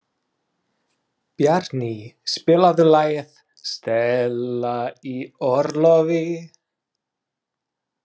Bjarný, spilaðu lagið „Stella í orlofi“.